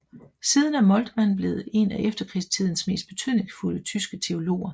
Siden er Moltmann blevet en af efterkrigstidens mest betydningsfulde tyske teologer